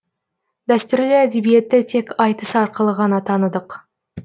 дәстүрлі әдебиетті тек айтыс арқылы ғана таныдық